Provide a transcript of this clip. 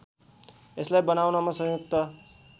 यसलाई बनाउनमा संयुक्त